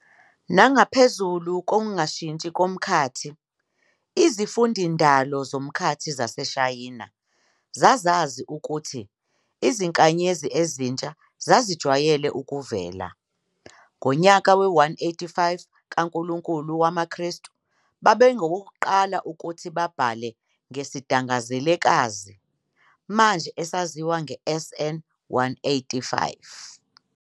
Nangaphezulu kokungashintshi komkhathi, izimfundindalo zomkhathi zaseShayina zazazi ukuthi izinkanyezi ezintsha zazijwayele ukuvela. Ngonyaka we-185 yankulunkulu wama kristu, babengabokuqala ukuthi babhale ngesidangazelekazi, manje esaziwa nge-SN 185.